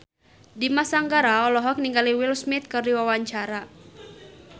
Dimas Anggara olohok ningali Will Smith keur diwawancara